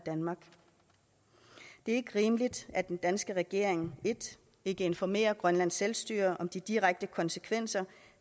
ikke rimeligt at den danske regering 1 ikke informerer grønlands selvstyre om de direkte konsekvenser